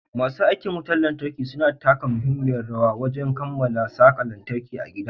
Masu aikin wutar lantarki suna taka muhimmiyar rawar wajan kammala saka lantarki a gidan.